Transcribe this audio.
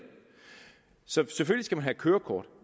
så selvfølgelig have kørekort